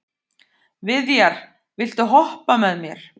Viðjar, viltu hoppa með mér?